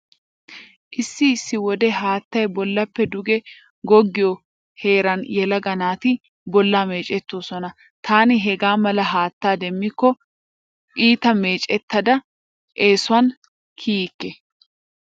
Issi issi wode haattay bollappe duge goggiyo heeran yelaga naati bollaa meecettoosona. Taani hegaa mala haattaa demmikko iita meecettada eesuwan kiyikke.